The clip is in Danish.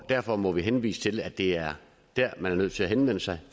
derfor må der henvises til at det er der man er nødt til henvende sig